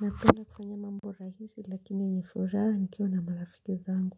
Napenda kufanya mambo rahisi lakini ni furaha nikiwa na marafiki zangu